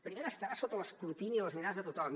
primera estarà sota l’escrutini de les mirades de tothom